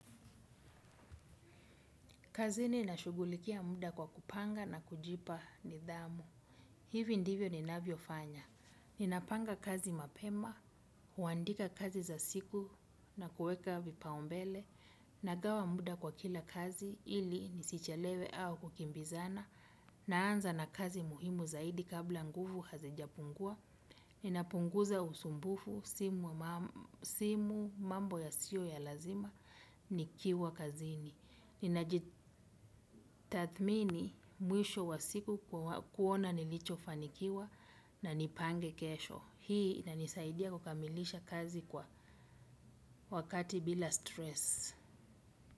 Kazini na shughulikia muda kwa kupanga na kujipa nidhamu. Hivi ndivyo ninavyo fanya. Ninapanga kazi mapema, huandika kazi za siku na kuweka vipaumbele, nagawa muda kwa kila kazi ili nisichelewe au kukimbizana, naanza na kazi muhimu zaidi kabla nguvu hazija pungua, ninapunguza usumbufu simu, simu mambo ya sio ya lazima, ni kiwa kazini. Ninaji ninajitathmini mwisho wa siku kuona nilicho fanikiwa na nipange kesho. Hii ina nisaidia kukamilisha kazi kwa wakati bila stress.